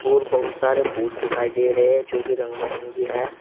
और बहुत सारे फूल दिखाई दे रहे हैं जो की रंग मरंगी है।